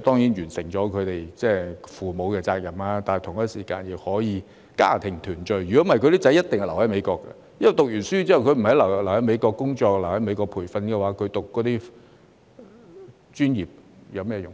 得已盡父母的責任，同時亦可以家庭團聚；否則，他的兒子一定會留在美國，因為畢業後不留在美國工作及培訓，他們讀那些專業又有甚麼用？